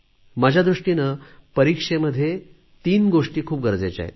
माझ्या दृष्टीने परीक्षेमध्ये तीन गोष्टी खूप गरजेच्या आहेत